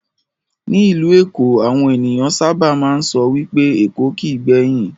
Ní ìlú èkó, àwọn ènìyàn sábà máa ń sọ wipé "Èkó kìí gbẹ̀yìn",